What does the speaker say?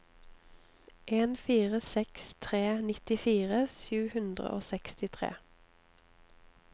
en fire seks tre nittifire sju hundre og sekstitre